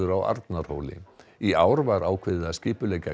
á Arnarhóli í ár var ákveðið skipuleggja